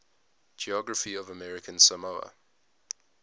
geography of american samoa